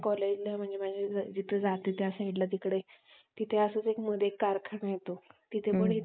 hmm